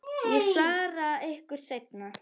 Ég svara ykkur seinna.